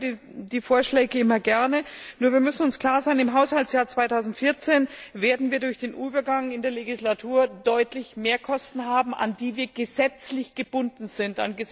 Ich höre die Vorschläge immer gerne, nur müssen wir uns klar sein Im Haushaltsjahr 2014 werden wir durch den Übergang in der Legislatur deutlich mehr Kosten haben, an die wir gesetzlich gebunden sind.